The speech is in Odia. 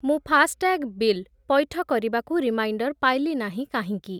ମୁଁ ଫାସ୍‌ଟ୍ୟାଗ୍ ବିଲ୍ ପୈଠ କରିବାକୁ ରିମାଇଣ୍ଡର୍ ପାଇଲି ନାହିଁ କାହିଁକି?